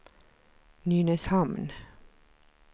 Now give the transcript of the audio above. Nynäshamn